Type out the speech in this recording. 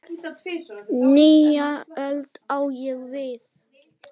Nýja öld, á ég við.